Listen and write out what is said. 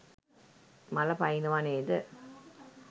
මල පනිනව නේද?